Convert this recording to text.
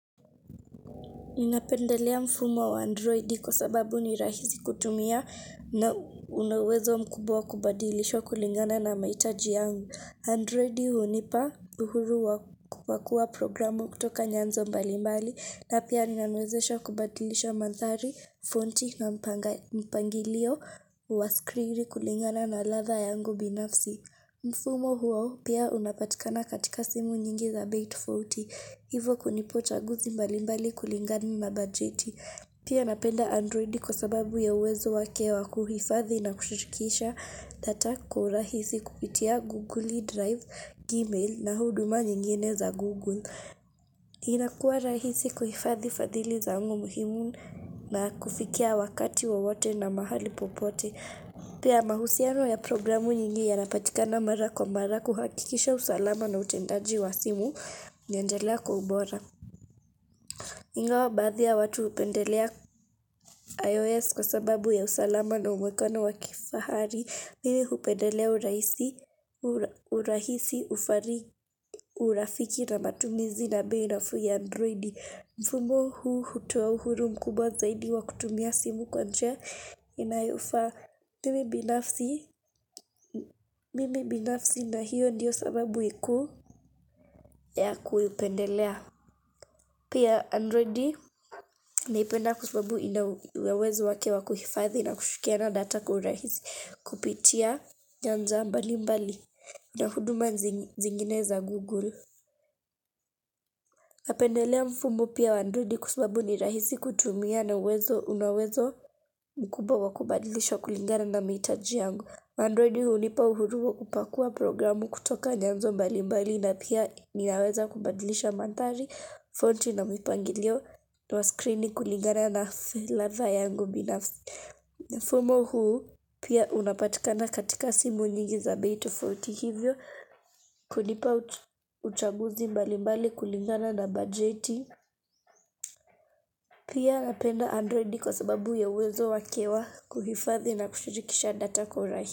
Ninapendelea mfumo wa Android kwa sababu ni rahisi kutumia na una uwezo mkubwa wa kubadilishwa kulingana na mahitaji yangu. Android hunipa uhuru wa kupakua programu kutoka nyanzo mbalimbali na pia inaniwezesha kubadilisha manthari, fonti na mpangilio wa screen kulingana na ladha yangu binafsi. Mfumo huo pia unapatikana katika simu nyingi za bei tofauti. Hivo kunipa chaguzi mbalimbali kulingana na bajeti. Pia napenda androidi kwa sababu ya uwezo wake wa kuhifadhi na kushirikisha data kwa urahisi kupitia Google Drive, Gmail na huduma nyingine za Google. Inakua rahisi kuhifadhi fadhili zangu muhimu na kufikia wakati wowote na mahali popote. Pia mahusiano ya programu nyingi yanapatikana mara kwa mara kuhakikisha usalama na utendaji wa simu unaendelea kwa ubora. Ingawa baadhi ya watu hupendelea IOS kwa sababu ya usalama na uonekano wa kifahari. Mimi hupendelea urahisi, urafiki na matumizi na bei nafuu ya android. Mfumo huu hutoa uhuru mkubwa zaidi wa kutumia simu kwa njia inayofaa. Mimi binafsi mimi binafsi na hiyo ndiyo sababu kuu ya kuipendelea. Pia Android naipenda kwa sababu ina uwezo wake wakuhifadhi na kushkiana na data kwa uhurahisi kupitia nyanza mbali mbali na huduma zingine za Google. Napendelea mfumo pia wa Android kwa sababu ni rahisi kutumia na uwezo una uwezo mkubwa wa kubadilishwa kulingana na mahitaji yangu. Androidi hunipa uhuru wa kupakua programu kutoka nyanzo mbalimbali na pia ninaweza kubadilisha manthari, fonti na mpangilio na wa screen kulingana na ladha yangu. Mfumo huu pia unapatikana katika simu nyingi za bei tofauti hivyo kunipa uchaguzi mbali mbali kulingana na bajeti. Pia napenda androidi kwa sababu ya uwezo wake wa kuhifathi na kushirikisha data kwa.